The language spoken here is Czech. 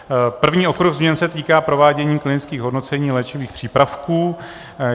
První okruh změn se týká provádění klinických hodnocení léčivých přípravků.